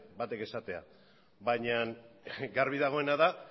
batek esatea baina garbi dagoena da